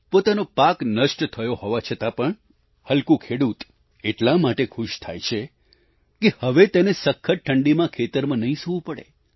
પોતાનો પાક નષ્ટ થયો હોવા છતાં પણ હલ્કૂ ખેડૂત એટલા માટે ખુશ થાય છે કે હવે તેને સખત ઠંડીમાં ખેતરમાં નહીં સૂવું પડે